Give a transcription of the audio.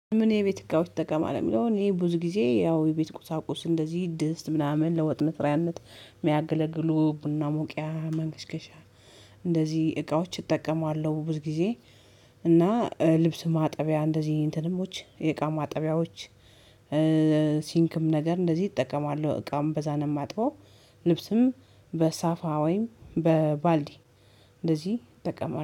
ምን የቤት እቃዎች ትጠቀማለህ? ለሚለው እኔ ብዙ ጊዜ ያው የቤት ቁሳቁስ እንደዚህ ድስት ምናምን ለወጥ መስሪያነት የሚያገለግሉ ቡና መቁያ ማንከሽከሻ እንደዚህ እቃዎች እጠቀማለሁ ብዙ ጊዜ። እና ልብስ ማጠቢያ እንደዚህ እንትንም የእቃ ማጠቢያዎች ሲንክም ነገር እንደዚህ እጠቀማለሁ እቃም በዛ ነው እማጥበው። ልብስም በሳፋ ወይም በባልዲ እንደዚህ እጠቀማለሁ